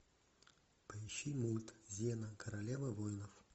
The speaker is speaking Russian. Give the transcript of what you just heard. поищи мульт зена королева воинов